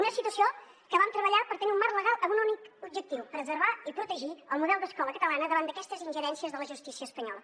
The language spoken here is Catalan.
una situació que vam treballar per tenir un marc legal amb un únic objectiu preservar i protegir el model d’escola catalana davant d’aquestes ingerències de la justícia espanyola